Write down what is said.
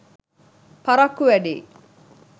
පරක්කු වැඩියි.